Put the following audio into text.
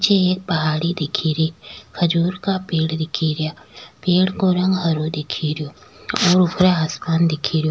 पीछे एक पहाड़ी दिख री खजूर का पेड़ दिख रा पेड़ को रंग हरो दिख रो ऊपर आसमान दिख रो।